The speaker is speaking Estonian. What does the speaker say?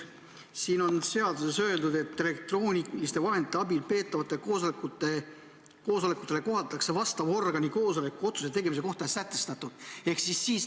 Siin eelnõus on öeldud, et elektrooniliste vahendite abil peetavatele koosolekutele kohaldatakse vastava organi koosoleku otsuse tegemise kohta sätestatut.